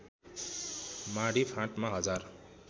माडी फाँटमा हजार